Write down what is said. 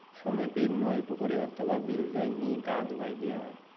সমীপৰ নৈ, পুখুৰী অথবা বিললৈ নি গা ধুৱাই দিয়া হয়।